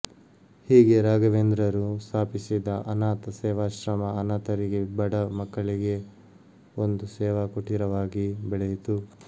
ಹೀಗೆ ರಾಘವೇಂದ್ರರು ಸ್ಥಾಪಿಸಿದ ಅನಾಥ ಸೇವಾಶ್ರಮ ಅನಾಥರಿಗೆ ಬಡ ಮಕ್ಕಳಿಗೆ ಒಂದು ಸೇವಾಕುಟೀರವಾಗಿ ಬೆಳೆಯಿತು